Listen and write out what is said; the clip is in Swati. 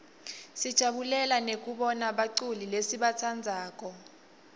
sijabulela nekubona baculi lesibatsandzako